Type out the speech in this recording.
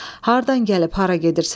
Hardan gəlib hara gedirsən?